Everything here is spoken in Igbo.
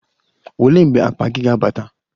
Olee mgbe akpa gị ga-abata?